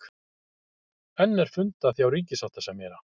Enn er fundað hjá ríkissáttasemjara